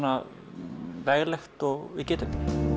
veglegt og við getum